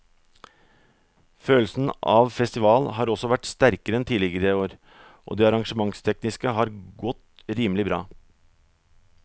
Følelsen av festival har også vært sterkere enn tidligere år og det arrangementstekniske har godt rimelig bra.